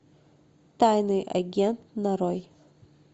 тайный агент нарой